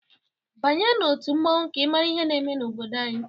Banye n'otu mmọnwụ ka ịmara ihe na-eme n'obodo anyị!